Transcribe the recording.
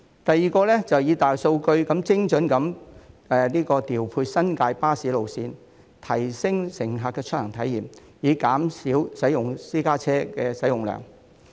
第二，以大數據精準調配新界巴士路線，提升乘客的出行體驗，以減少私家車的使用量。